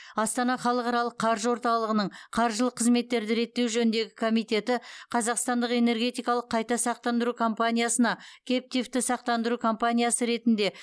астана халықаралық қаржы орталығының қаржылық қызметтерді реттеу жөніндегі комитеті қазақстандық энергетикалық қайта сақтандыру компаниясына кэптивті сақтандыру компаниясы ретінде